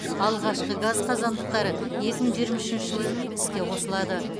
алғашқы газ қазандықтары екі мың жиырма үшінші жылы іске қосылады